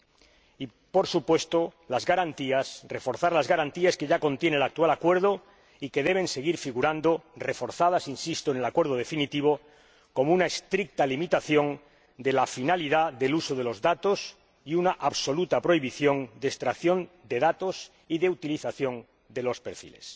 Y se compromete, por supuesto, a reforzar las garantías que ya contiene el actual acuerdo y que deben seguir figurando —reforzadas, insisto— en el acuerdo definitivo, como una estricta limitación de la finalidad del uso de los datos y una absoluta prohibición de la extracción de datos y la utilización de los perfiles.